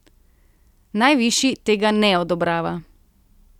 Najvišji tega ne odobrava.